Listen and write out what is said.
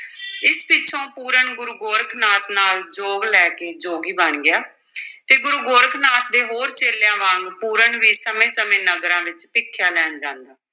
ਇਸ ਪਿੱਛੋਂ ਪੂਰਨ ਗੁਰੂ ਗੋਰਖ ਨਾਥ ਨਾਲ ਜੋਗ ਲੈ ਕੇ ਜੋਗੀ ਬਣ ਗਿਆ ਤੇ ਗੁਰੂ ਗੋਰਖ ਨਾਥ ਦੇ ਹੋਰ ਚੇਲਿਆਂ ਵਾਂਗ ਪੂਰਨ ਵੀ ਸਮੇਂ-ਸਮੇਂ ਨਗਰਾਂ ਵਿਚ ਭਿਖਿਆ ਲੈਣ ਜਾਂਦਾ।